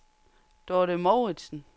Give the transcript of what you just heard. Dorthe Mouritsen